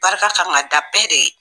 Barika kan ka da bɛɛ de ye